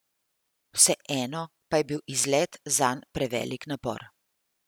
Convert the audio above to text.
Vseeno pa je bil izlet zanj prevelik napor.